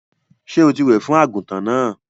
Sọ tí wẹ̀ fún àgùntàn náà?